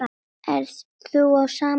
Ert þú á sama máli?